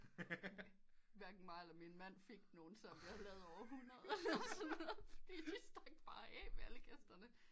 Hverken mig eller min mand fik nogen selvom vi havde lavet over hundrede eller sådan noget fordi de stak bare af med alle gæsterne